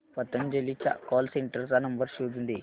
पतंजली च्या call centre चा number शोधून दे